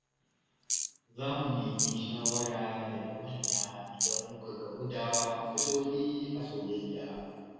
Za mu nemi shawara daga manya idan muka gamu da matsaloli a soyayya.